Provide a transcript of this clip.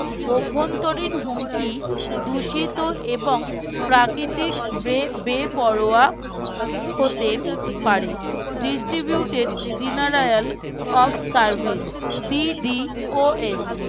অন্তরীন হুমকি দূষিত এবং প্রাকৃতিক বে বেপরোয়া হতে পারে, distributed denarial of serviceDDOS